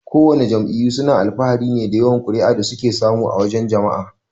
Kowana jam'iyyu suna alfahari ne da yawan kuri'a da suke samu a wajan jama'a.